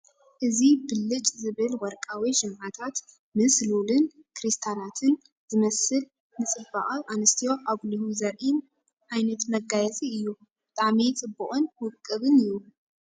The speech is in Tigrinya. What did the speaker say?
እዚ ብልጭ ዝብል ወርቃዊ ሽምዓታት ምስ ሉልን ክሪስታላትን ዝመስልን ንፅባቐ ኣንሰትዮ ኣጉሊሁ ዘርኢን ዓይነት መጋየፂ እዩ። ብጣዕሚ ጽብቕን ውቁብን እዩ፡፡